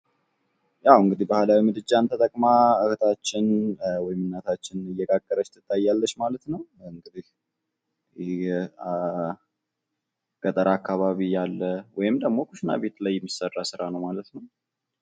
ያው እንግዲህ ባህላዊ ምድጃን ተጠቅማ እህታችን ወይም እናታችን እንጀራ እየጋገረች ትገኛለች ማለት ነው። ይህ ገጠር አካባቢ ያለ ወይም ደግሞ ኩሽና ቤት ላይ የሚሰራ ስራ ነው ማለት ነው።